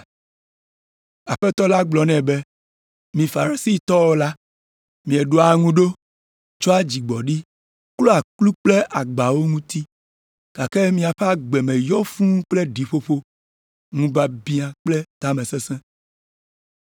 Aƒetɔ la gblɔ nɛ be, “Mi Farisitɔwo la, mieɖoa ŋu ɖo tsɔa dzigbɔɖi klɔa kplu kple agbawo ŋuti, gake miaƒe agbe me yɔ fũu kple ɖiƒoƒo, ŋubiabiã kple tamesesẽ.